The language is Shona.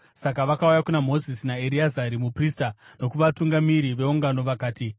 Saka vakauya kuna Mozisi naEreazari muprista nokuvatungamiri veungano, vakati,